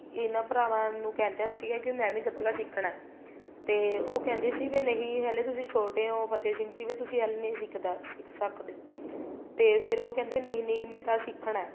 ਇਹਨਾ ਭਰਾਵਾਂ ਨੂੰ ਕਹਿੰਦਾ ਸੀਗਾ ਮੈਂ ਵੀ ਗੱਤਕਾ ਸਿੱਖਣਾ ਏ ਤੇ ਉਹ ਕਹਿੰਦੇ ਸੀ ਵੀ ਨਹੀਂ ਹਲੇ ਤੁਸੀਂ ਛੋਟੋ ਹੋ ਫ਼ਤਿਹ ਸਿੰਘ ਜੀ ਫ਼ੇਰ ਤੁਸੀਂ ਹਲੇ ਨਹੀਂ ਸਿੱਖਣਾ ਸਿੱਖ ਸਕਦੇ ਤੇ ਫ਼ੇਰ ਉਹ ਕਹਿੰਦੇ ਨਹੀਂ ਨਹੀਂ ਮੈਂ ਤਾਂ ਸਿੱਖਣਾ ਏ